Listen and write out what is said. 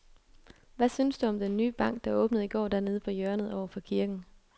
Hvad synes du om den nye bank, der åbnede i går dernede på hjørnet over for kirken?